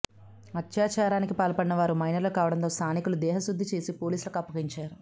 అత్యాచారానికి పాల్పడిన వారు మైనర్లు కావడంతో స్థానికులు దేహశుద్ధి చేసి పోలీసులకు అప్పగించారు